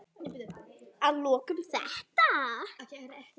Að lokum þetta.